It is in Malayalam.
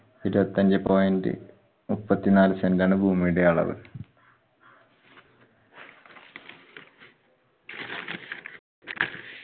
ഇരുപത്തിയഞ്ചെ point മുപ്പത്തി നാല് cent ആണ് ഭൂമിയുടെ അളവ്.